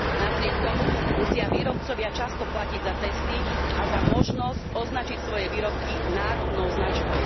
Napriek tomu musia výrobcovia často platiť za testy a za možnosť označiť svoje výrobky národnou značkou.